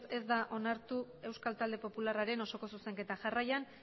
ez da onartu euskal talde popularraren osoko zuzenketa jarraian